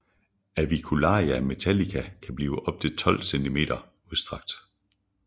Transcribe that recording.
Avicularia metallica kan blive op til 12 cm udstrakt